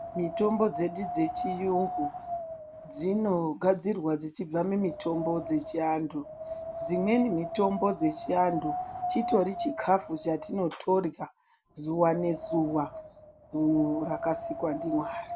Mitombo dzedu dzechiyungu, dzino gadzirwa dzechibva mumitombo dzechiantu. Dzimweni mitombo dzechiantu, chitori chikhafu chatino torhya zuwa ngezuwa rakasikwa ndiMwari.